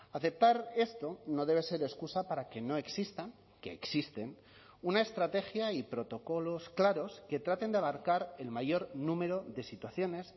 aceptar esto no debe ser excusa para que no exista que existen una estrategia y protocolos claros que traten de abarcar el mayor número de situaciones